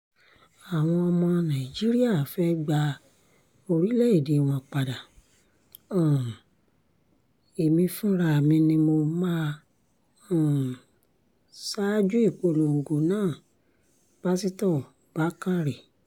àwọn ọmọ nàìjíríà fẹ́ẹ́ gba orílẹ̀‐èdè wọn padà um èmi fúnra mi ni mo máa um ṣaájú ìpolongo náà-pásitọ bákanrẹ́